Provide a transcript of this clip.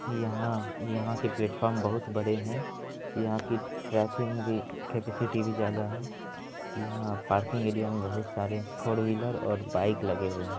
यहां यहां के प्लेटफॉर्म बहुत बड़े है यहां की ट्रैकिंग की केपेसिटी भी ज्यादा है यहां पार्किंग एरिया मे बहुत सारे फॉर व्हीलर और बाइक लगे हुए है।